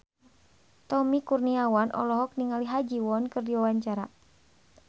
Tommy Kurniawan olohok ningali Ha Ji Won keur diwawancara